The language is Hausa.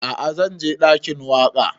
A'a zan je ɗakin waƙa